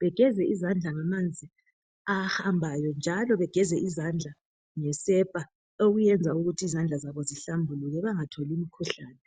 begeze izandla ngamanzi ahambayo njalo begeze izandla ngesepa okuyenza zihlambuluke bangatholi imikhuhlane.